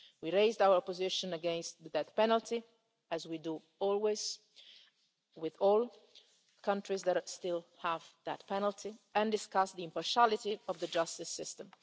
We raised our position against the death penalty, as we always do with all countries that still have that penalty, and we discussed the impartiality of the justice